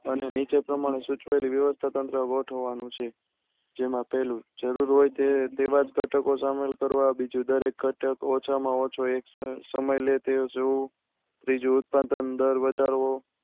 અને નીચે પ્રમાણે સુચવેલી વ્યવસ્થા તંત્ર ગોથાવાવનું છે. જેમાં પહેલું જરૂર હોય તેવા જ ધટકો સામેલ કરવા બીજું દરેક ધટક ઓછા માં ઓછો સમય લે તે જોવું ત્રીજું ઉત્પાદન દર વધારવો